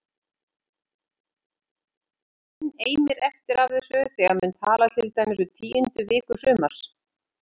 Enn eimir eftir af þessu þegar menn tala til dæmis um tíundu viku sumars